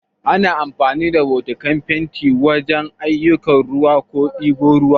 Ana amfani da bokatin fenti wajan yin aiyukan ruwa ko ɗiban ruwa